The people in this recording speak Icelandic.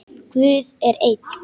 Guð er einn.